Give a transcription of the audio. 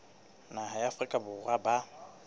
naha ya afrika borwa ba